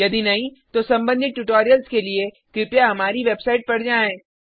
यदि नहीं तो सम्बंधित ट्यूटोरियल्स के लिए कृपया हमारी वेबसाइट पर जाएँ